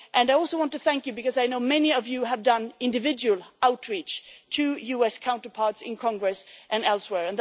way. I also want to thank you because I know many of you have reached out individually to US counterparts in Congress and elsewhere.